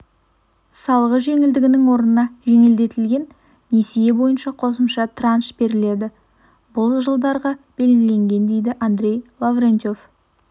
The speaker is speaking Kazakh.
салығы жеңілдігінің орнына жеңілдетілген несие бойынша қосымша транш беріледі бұл жылдарға белгіленген дейді андрей лаврентьев